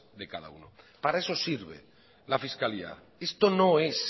de cada uno para eso sirve la fiscalidad esto no es